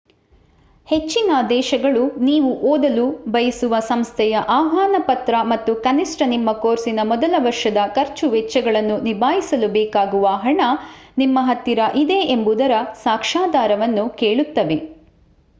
ಹೆಚ್ಚಿನ ದೇಶಗಳು ನೀವು ಓದಲು ಬಯಸುವ ಸಂಸ್ಥೆಯ ಆಹ್ವಾನ ಪತ್ರ ಮತ್ತು ಕನಿಷ್ಠ ನಿಮ್ಮ ಕೋರ್ಸಿನ ಮೊದಲ ವರ್ಷದ ಖರ್ಚು ವೆಚ್ಚಗಳನ್ನು ನಿಭಾಯಿಸಲು ಬೇಕಾಗುವ ಹಣ ನಿಮ್ಮ ಹತ್ತಿರ ಇದೆ ಎಂಬುದರ ಸಾಕ್ಷಾಧಾರವನ್ನು ಕೇಳುತ್ತವೆ